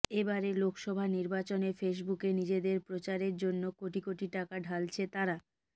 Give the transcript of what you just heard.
এবারের লোকসভা নির্বাচনে ফেসবুকে নিজেদের প্রচারের জন্য কোটি কোটি টাকা ঢালছে তারা